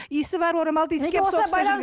иісі бар орамалды иіскеп соғыста жүрген